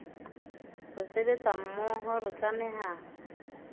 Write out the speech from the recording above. re sebetsa mmoho re tlameha